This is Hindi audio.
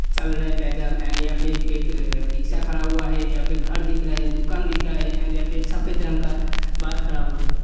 चल रहे पैदल एंड यहा पे एक रिक्शा खड़ा हुआ है। यहा पे घर दिख रहा है। दुकान दिख रहा है एंड यहाँ पे सफ़ेद रंग का बाश खड़ा हुआ है।